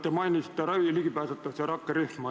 Te mainisite ligipääsetavuse rakkerühma.